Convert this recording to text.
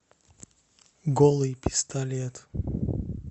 голый пистолет